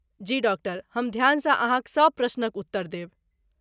जी, doctor! हम ध्यानसँ अहाँक सब प्रश्नक उत्तर देब।